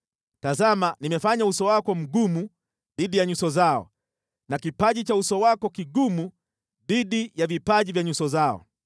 Tazama nimefanya uso wako mgumu dhidi ya nyuso zao na kipaji cha uso wako kigumu dhidi ya vipaji vya nyuso zao.